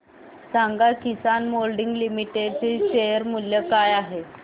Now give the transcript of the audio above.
सांगा Kisan moulding limited चे share मूल्य काय आहे